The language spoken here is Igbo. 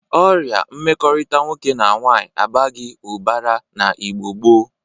Ọrịa mmekọrịta nwoke na nwaanyị abaghị ụbara na Igbo gboo.